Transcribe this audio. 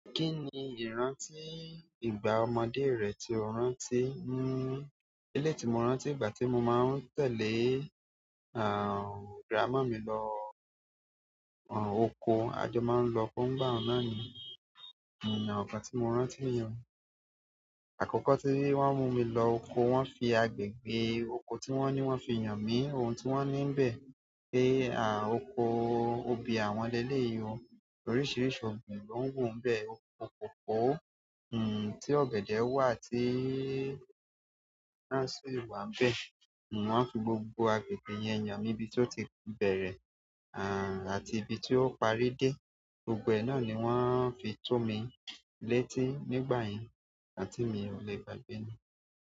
Kíni ìrántí ìgbà ọmọdé rẹ tí o rántí? Hmm, eléyii tí mo rántí ìgbà tí mo máa ń tẹ́lẹ̀, àh, grandma mi lọ, àh, oko. A jọ máa ń lọkó ńigbá náà ni, hmm, igbá tí mo rántí ni o. Àkókò tí wọ́n mú mi lọ oko, wọ́n fi agbègbè oko tí won ní wọ́n fi hàn mi ohun tí wọ́n ní nbẹ̀, pé àh, oko obì àwọn lẹ le yìí o. Oríṣiríṣi ọ̀gbìn ló ń wù nbẹ́ o. Kòkò, hmm, tí ọ̀gẹ̀dẹ̀ wà tí, wọn sì wà nbẹ́. Wọ́n fi gbogbo agbègbè yẹn hàn mí ibí tó ti bẹ̀rẹ̀, àh, àti ibí tí ó parí dé. Gbogbo ẹ náà ni wọ́n fi tọ́ mi létí nígbà yẹn, ǹkan tí mi ò lè gbàgbé ni.